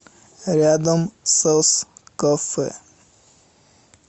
рядом соскафе